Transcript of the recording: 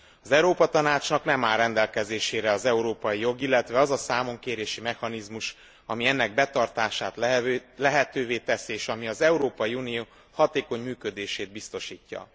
Az Európa Tanácsnak nem áll rendelkezésére az európai jog, illetve az a számonkérési mechanizmus, ami ennek betartását lehetővé teszi, és ami az Európai Unió hatékony működését biztosítja.